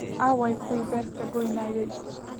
Aaway kuwii beerta gooynayay?